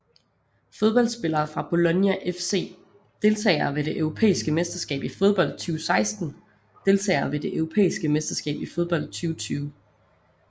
Fodboldspillere fra Bologna FC Deltagere ved det europæiske mesterskab i fodbold 2016 Deltagere ved det europæiske mesterskab i fodbold 2020